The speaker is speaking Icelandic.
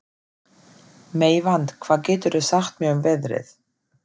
Meyvant, hvað geturðu sagt mér um veðrið?